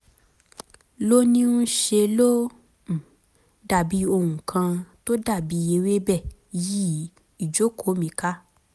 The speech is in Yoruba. lóníí ń ṣe ló um dàbí ohun kan tó dàbí ewébẹ̀ yí ìjókòó mi ká